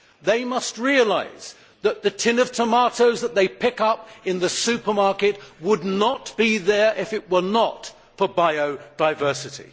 They must realise that the tin of tomatoes that they pick up in the supermarket would not be there if it were not for biodiversity.